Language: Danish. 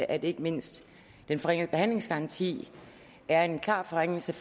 at ikke mindst den forringede behandlingsgaranti er en klar forringelse